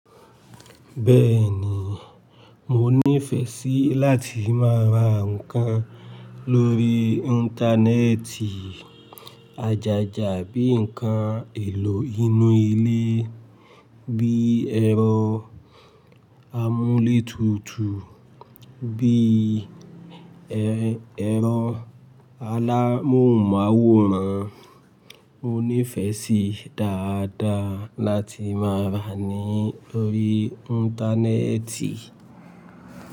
Bẹ́ẹ̀ni, mo nífẹ̀ẹ́ sí láti máa ra ǹkan lórí Íńtánẹ́ẹ̀tì. Àjájà bí i ǹkan èlò inú ilé bíi ẹ̀rọ amúlétutù, bí i ẹ̀rọ alámòhùnmáwòrán. Mo nífẹ̀ẹ́ sí dáadáa láti máa ra ní orí Íńtánẹ́ẹ̀tì.